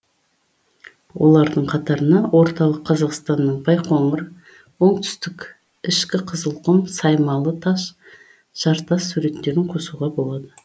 олардың қатарына орталық қазақстанның байқоңыр оңтүстіктің ішкі қызылқұм саймалы таш жартас суреттерін қосуға болады